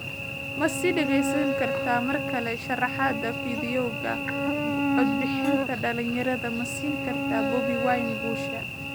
Ma sii dhageysan kartid markale sharraxaadda Fiidiyowga, Codbixinta dhalinyarada ma siin kartaa Bobi Wine guusha?